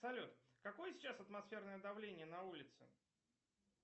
салют какое сейчас атмосферное давление на улице